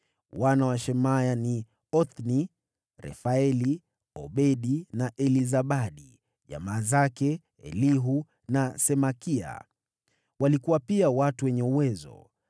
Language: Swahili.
Wana wa Shemaya ni: Othni, Refaeli, Obedi na Elizabadi; jamaa zake Elihu na Semakia walikuwa pia watu wenye uwezo.